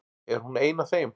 Er hún ein af þeim?